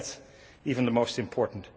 Maybe that is even the most important.